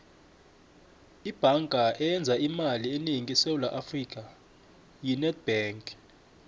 ibhanga eyenza imali enengi esewula afrika yi nedbank